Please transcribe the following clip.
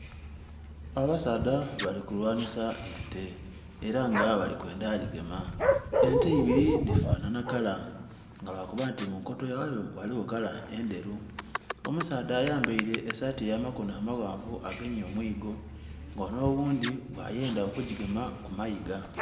Abasaadha bali kulyanhisa ente era nga bali kwendha gigema, ente ibiri dhi fanhanha kala nga lwa kuba nti mu nkoto yayo ghaligho kala endheru. Omusaadha ayambaire esaati ya makonho amaghanvu agemye omwigo nga onho oghundhi gha yendha okugigema ku mayiiga.